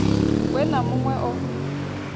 we na mun we o